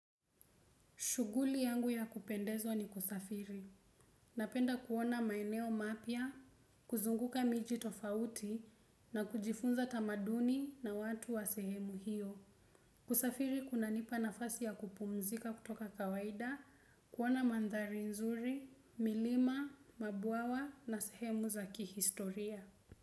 Shughuli yangu ya kupendeza ni kusafiri. Napenda kuona maeneo mapya, kuzunguka miji tofauti na kujifunza tamaduni na watu wa sehemu hiyo. Kusafiri kunanipa nafasi ya kupumzika kutoka kawaida, kuona manthari nzuri, milima mabwawa na sehemu za kihistoria.